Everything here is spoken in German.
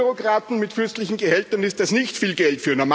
Für EU Bürokraten mit fürstlichen Gehältern ist das nicht viel Geld